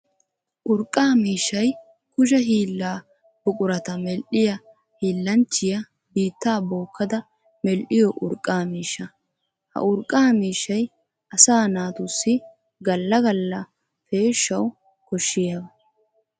Urqqa miishshay kushe hiilla buqurata medhdhiya hiillanchchiya biitta bookkadda medhdhiyo urqqa miishsha. Ha urqqa miishshay asaa naatussi gala gala peeshawu koshiyaba.